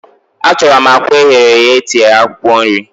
Achorom akwa eghere eghe etinyere akwukwo nri